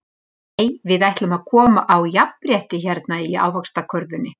Nei við ætlum að koma á jafnrétti hérna í Ávaxtakörfunni.